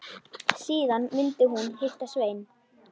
Síðan myndi hún hitta Svein.